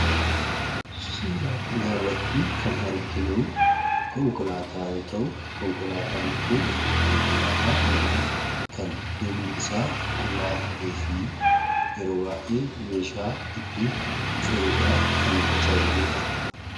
Suuraa kanarratti kan arginu suuraa konkolaataa yoo ta'u, konkolaataan kun konkolaataa manaa kan duubni isaa qullaa ta'ee fi yeroo baay'ee meeshaa itti fe'uuf kan nu tajaajiludha.